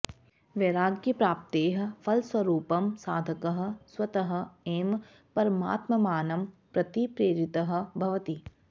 वैराग्यप्राप्तेः फलस्वरूपं साधकः स्वतः एव परमात्मानं प्रति प्रेरितः भवति